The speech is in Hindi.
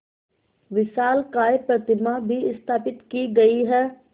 विशालकाय प्रतिमा भी स्थापित की गई है